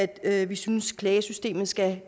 at vi synes klagesystemet skal